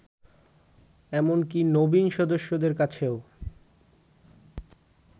এমনকি নবীন সদস্যদের কাছেও